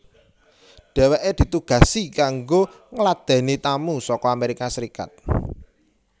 Dheweke ditugasi kanggo ngladeni tamu saka Amerika Serikat